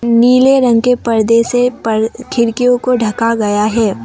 नीले रंग के पर्दे से पर खिड़कियों को ढका गया है।